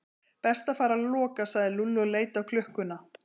Best að fara að loka sagði Lúlli og leit á klukkuna.